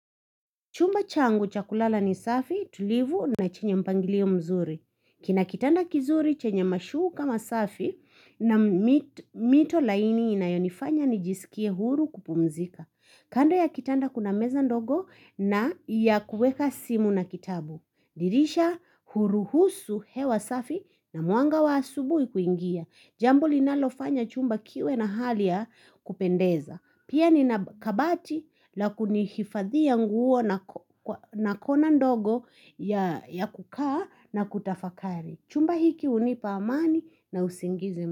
Chumba changu cha kulala ni safi tulivu na chenye mpangilio mzuri. Kina kitanda kizuri chenye mashuka masafi na mito laini inayonifanya nijisikie huru kupumzika. Kando ya kitanda kuna meza ndogo na ya kueka simu na kitabu. Dirisha huruhusu hewa safi na mwanga wa asubui kuingia. Jambu linalofanya chumba kiwe na hali ya kupendeza. Pia nina kabati la kunihifadhia nguo na kona ndogo ya kukaa na kutafakari. Chumba hiki hunipa amani na usingizi.